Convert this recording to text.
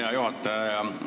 Hea juhataja!